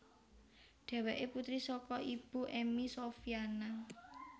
Dheweké putri saka Ibu Emmy Sofyana